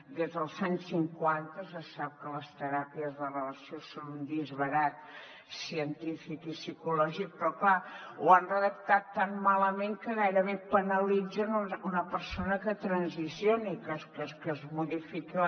des dels anys cinquanta se sap que les teràpies de reversió són un disbarat científic i psicològic però clar ho han redactat tan malament que gairebé penalitzen una persona que transicioni que es modifiqui